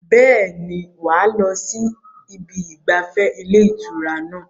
Bẹ́ẹ̀ni, wà á lọ sí ibi ìgbafẹ́ ilé ìtura náà